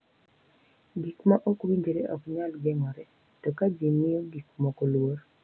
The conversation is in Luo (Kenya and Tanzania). Gik ma ok winjre ok nyal geng’ore, to ka ji miyo gik moko luor,